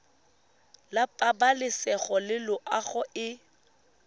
la pabalesego le loago e